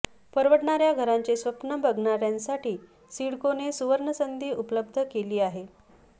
परवडणाऱ्या घराचे स्वप्न बघणाऱ्यांसाठी सिडकोने सुवर्णसंधी उपलब्ध केली आहे